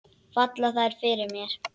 Falla þær fyrir mér?